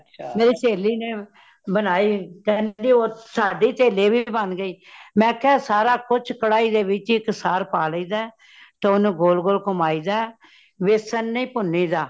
ਮੇਰੀ ਸਹੇਲੀ ਨੇ ਬਨਾਈ ਕੇਂਦਹਿ ਸਾਡੀ ਤਾ ਲੇਵੀ ਬਾਨ ਗਈ ਮੇਹ ਕਿਹਾ ਸਾਰਾ ਕੁਛ ਕਢਾਈ ਵਿਚ ਇਕ ਸਾਰ ਪਾ ਲਈ ਦੇ , ਤੇ ਓਨੁ ਗੋਲ ਗੋਲ ਕੁਮਾਈ ਦਾ ਵੇਸਣ ਨਹੀਂ ਭੁਨਿ ਦਾ